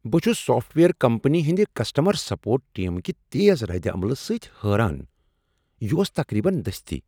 بہٕ چھس software company ہنٛدِ کسٹمر سپورٹ ٹیم کہ تیز ردعمل سۭتۍ حٲران ۔ یہ اوس تقریبا دستی!